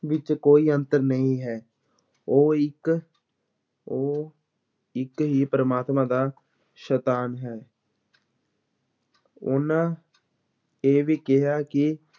ਵਿੱਚ ਕੋਈ ਅੰਤਰ ਨਹੀਂ ਹੈ, ਉਹ ਇੱਕ ਉਹ ਇੱਕ ਹੀ ਪਰਮਾਤਮਾ ਦਾ ਸੰਤਾਨ ਹੈ ਉਹਨਾਂ ਇਹ ਵੀ ਕਿਹਾ ਕਿ